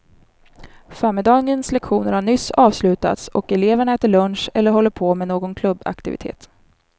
Förmiddagens lektioner har nyss avslutats och eleverna äter lunch eller håller på med någon klubbaktivitet.